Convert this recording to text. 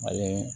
Mali